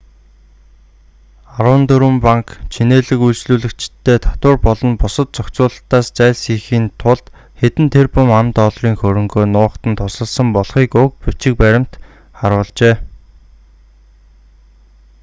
арван дөрвөн банк чинээлэг үйлчлүүлэгчиддээ татвар болон бусад зохицуулалтаас зайлсхийхийн тулд хэдэн тэрбум ам.долларын хөрөнгөө нуухад нь тусалсан болохыг уг баримт бичиг харуулжээ